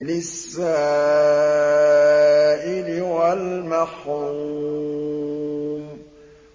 لِّلسَّائِلِ وَالْمَحْرُومِ